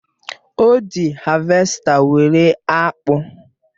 O ji havèsta were akpụ.